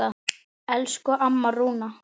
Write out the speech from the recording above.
Elsku amma Rúna.